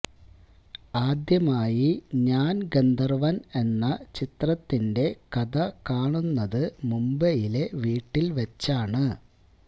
ആദ്യമായി ഞാൻ ഗന്ധർവ്വൻ എന്ന ചിത്രത്തിന്റെ കഥ കാണുന്നത് മുംബൈയിലെ വീട്ടിൽ വെച്ചാണ്